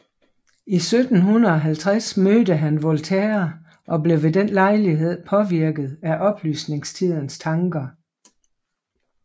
I 1750 mødte han Voltaire og blev ved den lejlighed påvirket af oplysningstidens tanker